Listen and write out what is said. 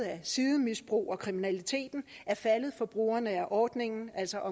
at sidemisbrug og kriminalitet er faldet for brugerne af ordningen altså